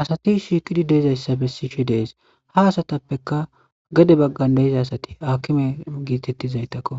Asati shikidi deezayssa fe sishe dees ha asatappeka gade baggan deiza asati akime giitettizaytakko